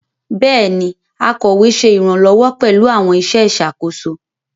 Béèni, akọwé ṣe iranlọwọ pẹlú àwọn iṣẹ ìṣàkóso